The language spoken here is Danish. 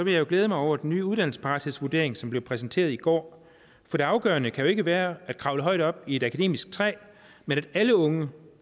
jeg jo glæde mig over den nye uddannelsesparathedsvurdering som blev præsenteret i går for det afgørende kan jo ikke være at kravle højt op i et akademisk træ men at alle unge